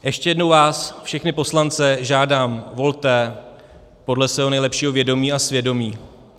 Ještě jednou vás, všechny poslance, žádám, volte podle svého nejlepšího vědomí a svědomí.